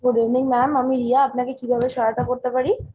good evening ma'am, আমি রিয়া। আপনাকে কিভাবে সহায়তা করতে পারি ?